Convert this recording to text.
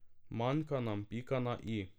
Manjka nam pika na i.